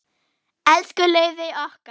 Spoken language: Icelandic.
Elsku Laufey okkar.